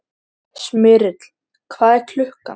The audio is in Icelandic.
Smyrill, hvað er klukkan?